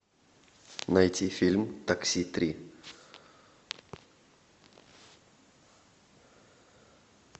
найти фильм такси три